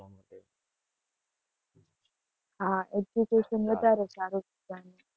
હા education વધારે સારું છે ત્યાં.